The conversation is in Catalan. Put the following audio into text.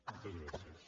moltes gràcies